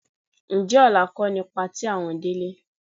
Ǹjẹ́ ọ̀la kọ́ ni patí àwọn Délé?